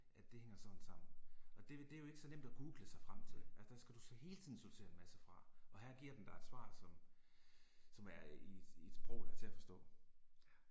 At det hænger sådan sammen, og det det er jo ikke så nemt at google sig frem til, altså der skal du hele tiden sortere en masse fra, og her giver den dig et svar som, som er i et i et sprog der er til at forstå